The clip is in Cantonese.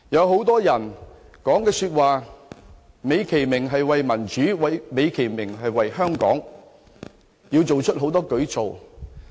很多人所說的話美其名是為了民主，為了香港，要推行很多舉措。